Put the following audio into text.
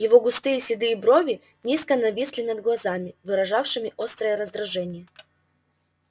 его густые седые брови низко нависли над глазами выражавшими острое раздражение